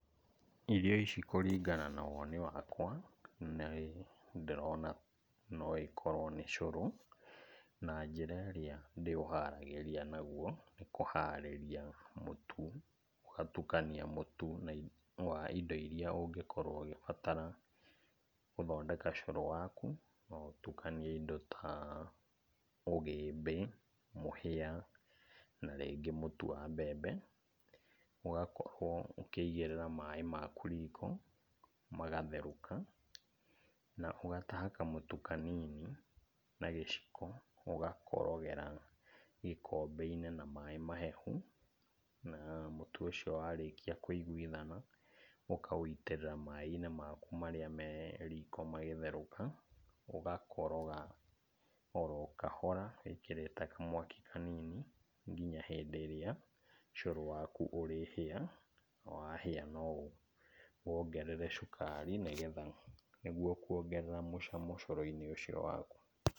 Irio ici kũringana na woni wakwa, nĩ ndĩrona no ĩkorwo nĩ cũrũ, na njĩra ĩrĩa ndĩũharagĩria naguo, nĩ kũharĩria mũtu, ũgatukania mũtu wa indo iria ũngĩkorwo ũgĩbatara gũthondeka cũrũ waku, no ũtukanie indo ta ũgĩmbĩ, mũhĩa, na rĩngĩ mũtu wa mbembe. Ũgakorwo ũkĩigĩrĩra maĩ maku riko, magatherũka na ũgataha kamũtu kanini na gĩciko, ũgakorogera gĩkombe-inĩ na maĩ mahehu, na mũtu ũcio warĩkia kũiguithana, ũkawĩitĩrĩra maĩ-inĩ maku marĩa me riko magĩtherũka, ũgakoroga oro kahora wĩkĩrite kamwaki kanini kinya hĩndĩ ĩrĩa cũrũ waku ũrĩhĩa, wahĩa no ũwongerere cukari, nĩguo kuongerera mũcamo cũrũ-inĩ ũcio waku.